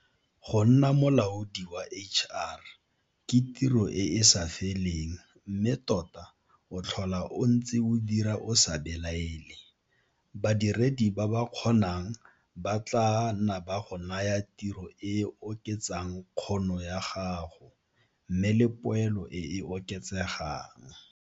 Go nna molaodi wa HR ke tiro e e sa feleng mme tota o tlhola o ntse o dira o sa belaele, badiredi ba ba kgonang ba tlaa nna ba go naya tiro e e oketsang kgono ya gago, mme le poelo e e oketsegang.